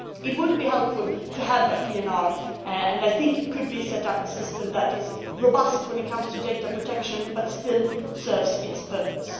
It would be helpful to have a PNR and I think a system could be set up that is robust when it comes to data protection but still serves its purpose.